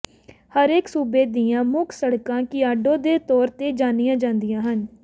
ਹਰੇਕ ਸੂਬੇ ਦੀਆਂ ਮੁੱਖ ਸੜਕਾਂ ਕਿਆਡੋ ਦੇ ਤੌਰ ਤੇ ਜਾਣੀਆਂ ਜਾਂਦੀਆਂ ਸਨ